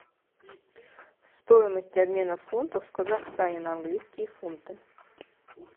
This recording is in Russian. стоимость обмена фунтов в казахстане на английские фунты